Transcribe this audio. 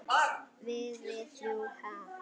Við- við þrjú, ha?